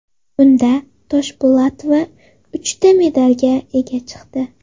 Bunda Toshpo‘latova uchta medalga ega chiqdi.